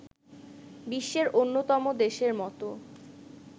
বিশ্বের অন্যতম দেশের মতো